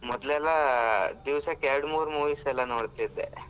ಮೊದ್ಲೆಲ್ಲಾ ದಿವಸಕ್ಕೆ ಎರಡು ಮೂರು movies ಎಲ್ಲ ನೋಡ್ತಾ ಇದ್ದೆ.